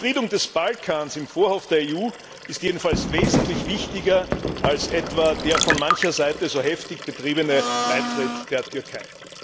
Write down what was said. Die Befriedung des Balkans im Vorhof der EU ist jedenfalls wesentlich wichtiger als etwa der von mancher Seite so heftig betriebene Beitritt der Türkei.